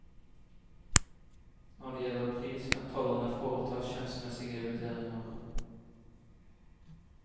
Når det gjelder pris kan tollerne foreta skjønnsmessige vurderinger.